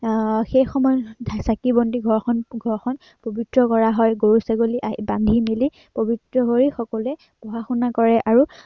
আহ সেই সময়ত চাকি বন্তি আহ ঘৰখন পবিত্ৰ কৰা হয়। গৰু-ছাগলী বান্ধি মেলি পবিত্ৰ হৈ সকলোৱে পঢ়া-শুনা কৰে আৰু